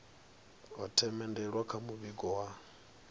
ho themendelwa kha muvhigo wa